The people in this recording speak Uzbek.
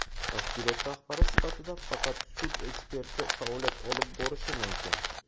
Tashkilot rahbari sifatida faqat sud eksperti faoliyat olib borishi mumkin.